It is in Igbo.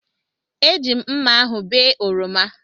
Eji m mmá ahụ bee oroma.